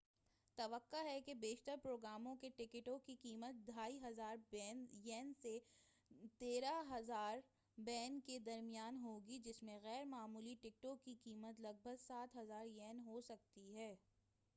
توقع ہے کہ بیشتر پروگراموں کے ٹکٹوں کی قیمت 2،500 ین سے، 130،000 ین کے درمیان ہوگی، جس میں غیر معمولی ٹکٹوں کی قیمت لگ بھگ 7000 ین ہوسکتی ہے۔